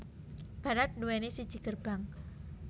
Barat duwéni siji gerbang